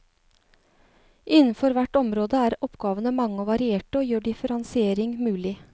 Innenfor hvert område er oppgavene mange og varierte og gjør differensiering mulig.